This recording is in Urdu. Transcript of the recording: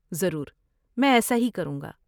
ضرور، میں ایسا ہی کروں گا۔